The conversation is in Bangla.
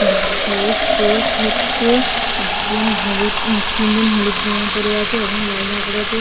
বাচ্ছাদের স্পোর্টস হচ্ছে। একজন হুলুদ তিন জন হলুদ জামা পরে আছে একজন লাল জামা পরে আছে।